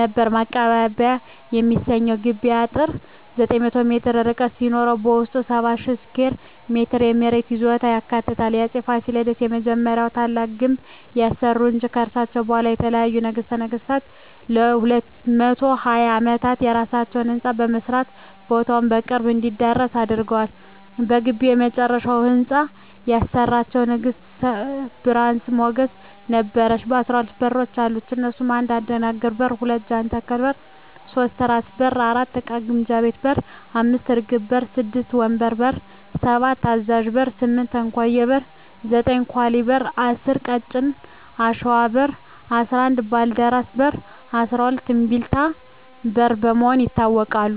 ነበር ማቀባበያ የሚሰኘዉ የግቢዉ አጥር 900ሜትር ርዝመት ሲኖረዉበዉስጡ 70,000ስኩየር ሜትር የመሬት ይዞታ ያካልላል አፄ ፋሲለደስ የመጀመሪያዉና ታላቁን ግንብ ያሰሩ እንጂ ከርሳቸዉ በኋላ የተነሱ ነገስታትም ለ220ዓመታት የየራሳቸዉ ህንፃ በመስራት ቦታዉ በቅርስ እንዲዳብር አድርገዋል በግቢዉ የመጨረሻዉን ህንፃ ያሰራቸዉን ንግስት ብርሀን ሞገስ ነበረች 12በሮች አሉት እነሱም 1. አደናግር በር 2. ጃንተከል በር 3. ራስ በር 4. እቃ ግምጃ ቤት 5. እርግብ በር 6. ወንበር በር 7. አዛዥ በር 8. እንኮዬ በር 9. ኳሊ በር 10. ቀጭን አሽዋ በር 11. ባልደራስ በር 12. እምቢልታ በር በመባል ይታወቃሉ